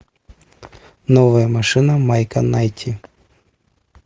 новая машина майка найти